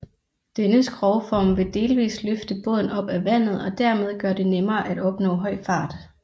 Denne skrogform ville delvist løfte båden op af vandet og dermed gøre det nemmere at opnå høj fart